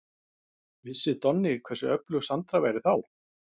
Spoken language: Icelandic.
Vissi Donni hversu öflug Sandra væri þá?